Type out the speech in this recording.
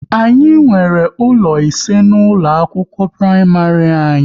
Anyị nwere ụlọ ise na ụlọ akwụkwọ praịmarị anyị